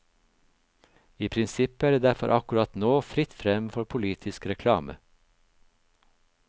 I prinsippet er det derfor akkurat nå fritt frem for politisk reklame.